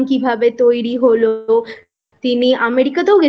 কিভাবে তৈরী হলো তিনি আমেরিকাতেও গেছিলেন জানিস